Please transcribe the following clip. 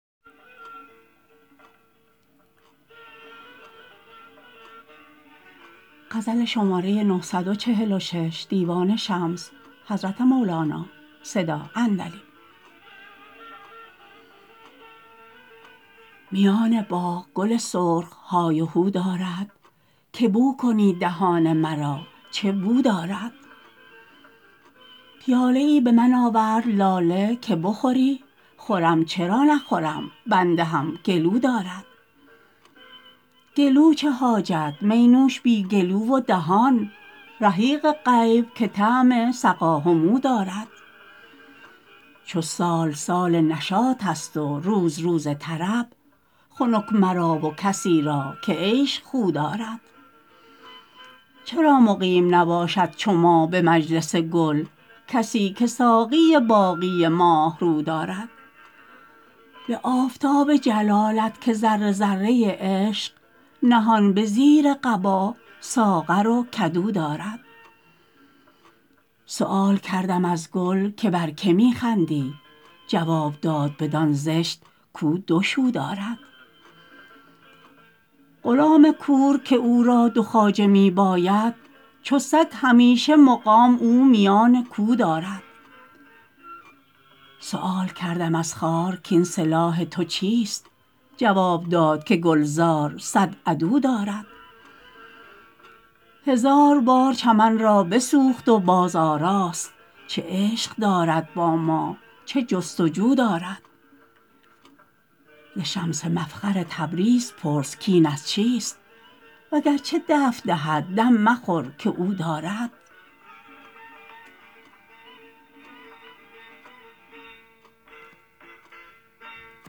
میان باغ گل سرخ های و هو دارد که بو کنید دهان مرا چه بو دارد پیاله ای به من آورد لاله که بخوری خورم چرا نخورم بنده هم گلو دارد گلو چه حاجت می نوش بی گلو و دهان رحیق غیب که طعم سقا همو دارد چو سال سال نشاطست و روز روز طرب خنک مرا و کسی را که عیش خو دارد چرا مقیم نباشد چو ما به مجلس گل کسی که ساقی باقی ماه رو دارد به آفتاب جلالت که ذره ذره عشق نهان به زیر قبا ساغر و کدو دارد سؤال کردم از گل که بر که می خندی جواب داد بدان زشت کو دو شو دارد غلام کور که او را دو خواجه می باید چو سگ همیشه مقام او میان کو دارد سؤال کردم از خار کاین سلاح تو چیست جواب داد که گلزار صد عدو دارد هزار بار چمن را بسوخت و بازآراست چه عشق دارد با ما چه جست و جو دارد ز شمس مفخر تبریز پرس کاین از چیست وگرچه دفع دهد دم مخور که او دارد